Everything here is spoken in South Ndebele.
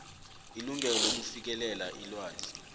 ilungelo lokufikelela ilwazi